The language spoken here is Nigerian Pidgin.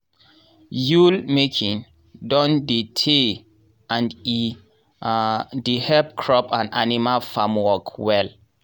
yool-making don tey and e um dey help crop and animal farmwork well.